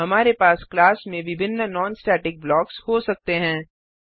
हमारे पास क्लास में विभिन्न नॉन स्टेटिक ब्लॉक्स हो सकते हैं